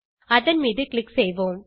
அதன் மீது க்ளிக் செய்வோம்